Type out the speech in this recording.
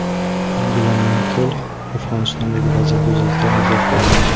Angela Merkel Afg‘onistondagi vaziyat yuzasidan izoh berdi.